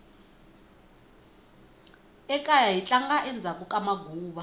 ekaya hi tlanga endzhaku ka maguva